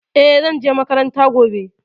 E, zan je makaranta gobe.